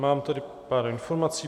Mám tady pár informací.